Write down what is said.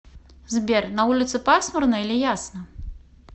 сбер на улице пасмурно или ясно